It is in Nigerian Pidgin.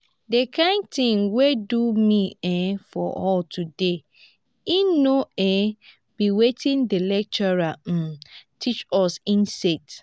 the kin thing wey do me um for hall today e no um be wetin the lecturer um teach us im set